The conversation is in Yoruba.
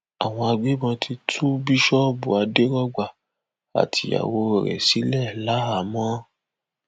àwọn agbébọn ti tú bíṣọọbù àdèrògba àtìyàwó rẹ sílẹ láàámọ